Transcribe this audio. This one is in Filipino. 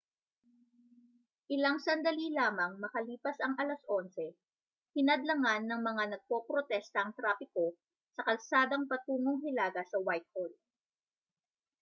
ilang sandali lamang makalipas ang 11:00 hinadlangan ng mga nagpoprotesta ang trapiko sa kalsadang patungong hilaga sa whitehall